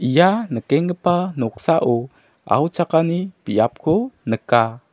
ia nikenggipa noksao auchakani biapko nika.